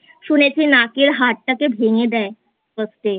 শুনেছি নাক এর হাড়টাকে ভেঙে দেয় First এ?